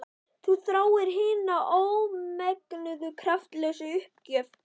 Þú þráir hina ómenguðu kraftlausu uppgjöf.